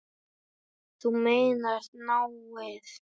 Þú meinar náið?